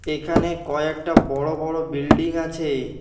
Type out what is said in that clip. এখানে কয়েকটা বড় বড় বিল্ডিং আছে।